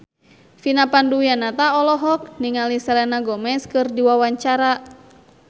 Vina Panduwinata olohok ningali Selena Gomez keur diwawancara